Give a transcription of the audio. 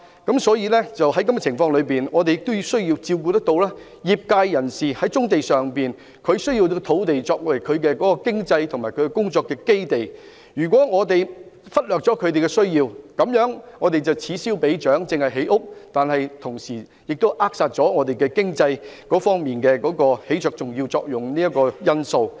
在這個情況下，我們亦要照顧業界人士的需要，他們需要棕地作為經濟和工作的基地，如果我們忽略了他們的需要，這樣便會此消彼長，只顧建屋，卻扼殺了他們在經濟方面起着重要作用的因素。